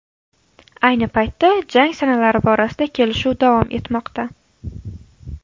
Ayni paytda jang sanalari borasida kelishuv davom etmoqda.